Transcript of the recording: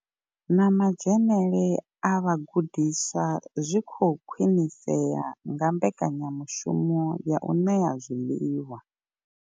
Na madzhenele a vhagudiswa zwi khou khwinisea nga mbekanyamushumo ya u ṋea zwiḽiwa.